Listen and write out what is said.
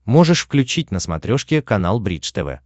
можешь включить на смотрешке канал бридж тв